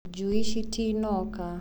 njui citanoka.